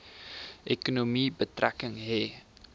ekonomie betrekking hê